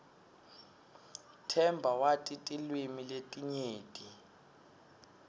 themba wati tilwimi letinyenti